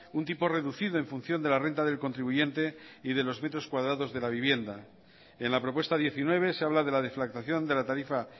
un tipo reducido en función de la renta del contribuyente y de los metros cuadrados de la vivienda en la propuesta diecinueve se habla de la deflactación de la tarifa